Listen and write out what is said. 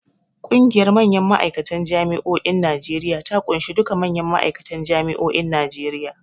Ƙungiyar manyan ma'aikatan Jami'o'in Najeriya ta ƙunshi duka manyan ma'aikatan Jami'o'in Najeriya.